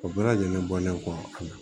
O bɛɛ lajɛlen bɔlen kɔ a la